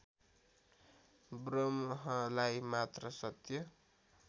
ब्रह्मलाई मात्र सत्य